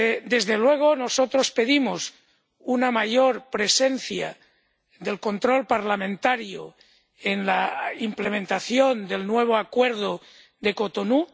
Desde luego, nosotros pedimos una mayor presencia del control parlamentario en la implementación del nuevo Acuerdo de Cotonú